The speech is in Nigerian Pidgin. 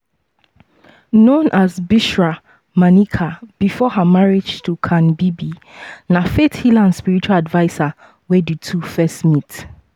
known as bushra maneka before her marriage to khan bibi na faith healer and spiritual adviser when di two first met.